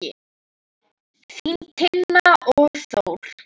Þín Tinna og Þór.